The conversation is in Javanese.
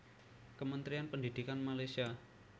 Kementerian Pendidikan Malaysia